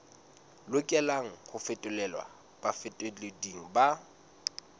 lokelang ho fetolelwa bafetoleding ba